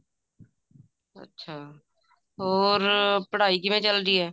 ਅੱਛਾ ਹੋਰ ਪੜ੍ਹਾਈ ਕਿਵੇਂ ਚੱਲਦੀ ਐ